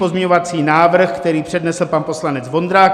Pozměňovací návrh, který přednesl pan poslanec Vondrák.